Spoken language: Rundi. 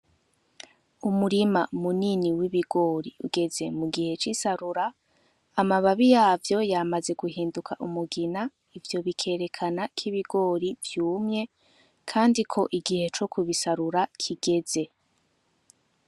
Umurima minini w'ibigori ugeze mugihe c'isarura ,amababi yavo yamaze guhinduka umugina, ivyo bikerekana ko ibigori vyumye kandi ko igihe co kubisarura kigeze.